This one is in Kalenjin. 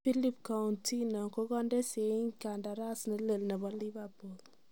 Philippe Countinho kokande seyiiit kandaras nelel nebo Liverpool